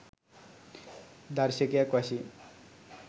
දර්ශකයක් වශයෙන්